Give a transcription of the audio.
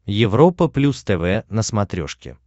европа плюс тв на смотрешке